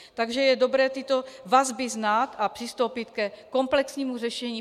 Takže je dobré tyto vazby znát a přistoupit ke komplexnímu řešení.